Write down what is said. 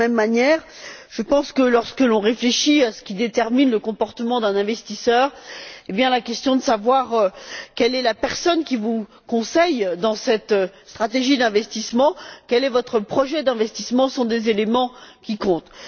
De la même manière, je pense que lorsque l'on réfléchit à ce qui détermine le comportement d'un investisseur, la question de savoir quelle personne vous conseille dans cette stratégie d'investissement et quel est votre projet d'investissement sont des éléments qui comptent.